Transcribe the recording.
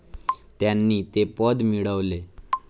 त्यांनी ते पद मिळवले.